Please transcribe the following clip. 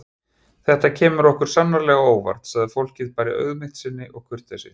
Þetta kemur okkur sannarlega á óvart, sagði fólkið bara í auðmýkt sinni og kurteisi.